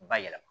Bayɛlɛma